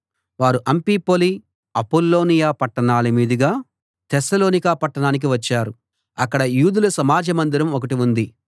వారు Amphipolis Apollonia పట్టణాల మీదుగా తెస్సలోనిక పట్టణానికి వచ్చారు అక్కడ యూదుల సమాజ మందిరం ఒకటి ఉంది